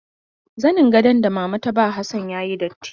Zanin gadon da mama ta ba Hassan ya yi datti.